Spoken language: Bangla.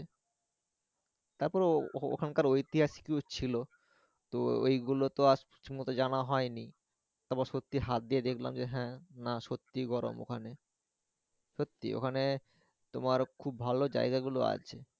তারপরে ওখানকার ঐতিহাসিকও ছিলো তো ওই গুলো তো আর ঠিকমত জানা হয়নি তারপর সত্যি হাত দিয়ে দেখলাম হ্যা না সত্যি গরম ওখানে সত্যি ওখানে তোমার খুব ভালো জায়াগ গুলো আছে।